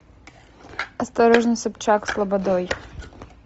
осторожно собчак с лободой